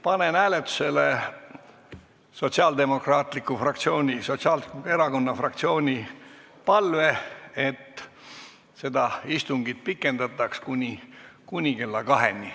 Panen hääletusele Sotsiaaldemokraatliku Erakonna fraktsiooni palve, et seda istungit pikendataks kuni kella kaheni.